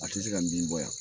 A tɛ se ka bin bɔ yan